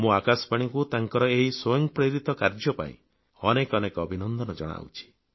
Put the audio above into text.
ମୁଁ ଆକାଶବାଣୀକୁ ତାଙ୍କର ଏହି ସ୍ୱୟଂ ପ୍ରେରିତ କାର୍ଯ୍ୟ ପାଇଁ ଅନେକ ଅନେକ ଅଭିନନ୍ଦନ ଜଣାଉଛି